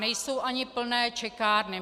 Nejsou ani plné čekárny.